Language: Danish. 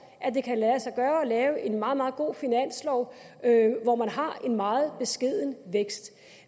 at det kan lade sig gøre at lave en meget meget god finanslov hvor man har en meget beskeden vækst